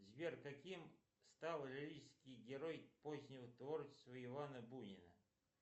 сбер каким стал лирический герой позднего творчества ивана бунина